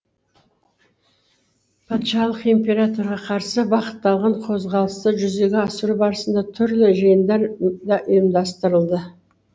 патшалық императорға қарсы бағытталған қозғалысты жүзеге асыру барысында түрлі жиындар да ұйымдастырылды